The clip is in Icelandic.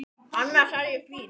Annars er ég fín.